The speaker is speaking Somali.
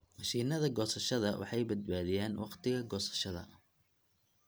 Mashiinnada goosashada waxay badbaadiyaan wakhtiga goosashada.